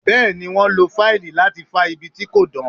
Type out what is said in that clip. Bẹ́ẹ̀ ni, wọ́n lo fáìlì láti fá ibi tí kò dán.